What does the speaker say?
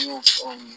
N y'o fɔ